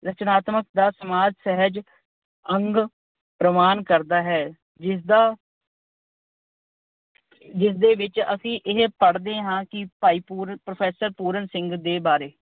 ਰਚਨਾਤਮਕ ਦਾ ਸਮਾਜ ਸਹਿਜ ਅੰਗ ਪ੍ਰਮਾਣ ਕਰਦਾ ਹੈ ਜਿਸਦਾ ਅਹ ਜਿਸਦੇ ਵਿੱਚ ਅਸੀਂ ਇਹ ਪੜ੍ਹਦੇ ਹਾਂ ਕਿ ਭਾਈ ਅਹ ਪ੍ਰੋਫੈਸਰ ਪੂਰਨ ਸਿੰਘ ਦੇ ਬਾਰੇ।